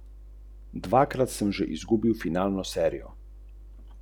Rozine namočimo v vodo z rumom.